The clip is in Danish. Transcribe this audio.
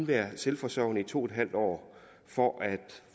været selvforsørgende i to en halv år for at